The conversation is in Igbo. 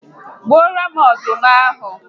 Gbuoro m ọdụm ahụ